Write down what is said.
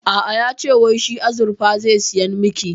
A'a, yace wai shi azurfa zai saya miki